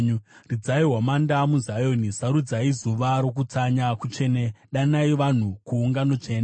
Ridzai hwamanda muZioni. Sarudzai zuva rokutsanya kutsvene, danai vanhu kuungano tsvene.